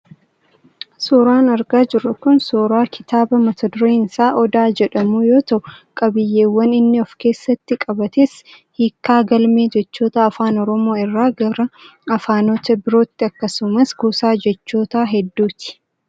Suuraan argaa jirru kun suuraa kitaaba mata dureen isaa Odaa jedhamuu yoo ta'u, qabiyyeewwan inni of keessatti qabates hiikkaa galmee jechootaa afaan Oromoo irraa gara afaanota birooti akkasumas kuusaa jechoota hedduuti.